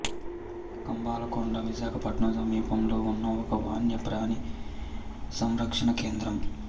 కంబాలకొండ విశాఖపట్నం సమీపంలో ఉన్న ఒక వన్యప్రాణి సంరక్షణ కేంద్రం